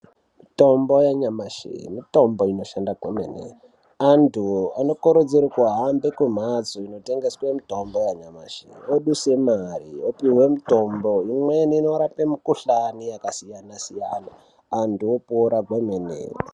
Mitombo yanyamashi mitombo inoshanda kwemene antu anokurudzirwe kuhambe kumhatso inotengese mitombo yanyamashi voduse mare vopuhwe mitombo imweni inorape mikhuhlani yakasiyana siyana antu opora kwemene.